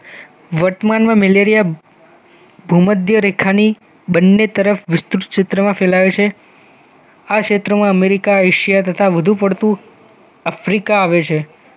વર્તમાનમાં મલેરિયા ભૂમધ્ય રેખાની બંને તરફ વિસ્તૃત ક્ષેત્રમાં ફેલાવે છે આ ક્ષેત્રમાં અમેરિકા એશિયા તથા વધુ પડતુ આફ્રિકા આવે છે